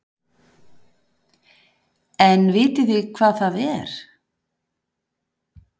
En vitið þið hvað það er?